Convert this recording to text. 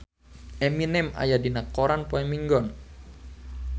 Eminem aya dina koran poe Minggon